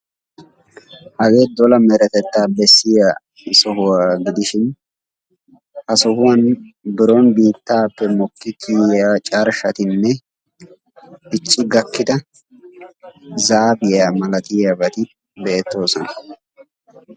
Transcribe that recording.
Hage dola meretetta bessiya sohuwa gidishin ha sohuwan biron biittaappe mokki kiyiyya carshshatinne dicci gakkida zaafiya malatiyaabati beettoosona.